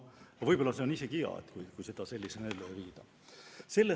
Võib-olla on isegi hea, kui seda sellisena ellu ei viida.